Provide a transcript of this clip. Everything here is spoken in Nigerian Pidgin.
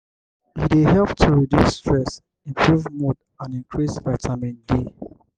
e dey help to reduce stress improve mood and increase vitamin d.